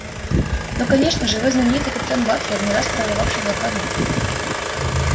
ну конечно же вы знаменитый капитан батлер не раз прорывавший блокаду